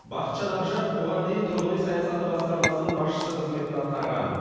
бақытжан ақжаров бұған дейін тұрғын үй саясаты басқармасының басшысы қызметін атқарған